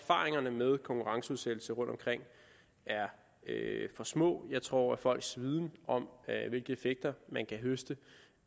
at erfaringerne med konkurrenceudsættelse rundtomkring er for små jeg tror at folks viden om hvilke effekter man kan høste